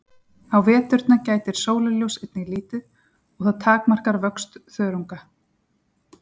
á veturna gætir sólarljóss einnig lítið og það takmarkar vöxt þörunga